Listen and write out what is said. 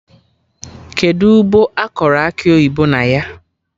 Kedụ ugbo akọrọ Akị oyibo na ya?